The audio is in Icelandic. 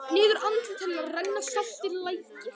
Niður andlit hennar renna saltir lækir.